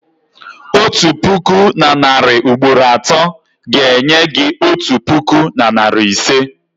otu puku na narị ugboro atọ ga-enye gị otu puku na narị ise.